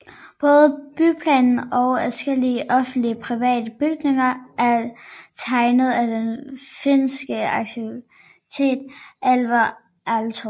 Både byplanen og adskillige offentlige og private bygninger er tegnet af den finske arkitekt Alvar Aalto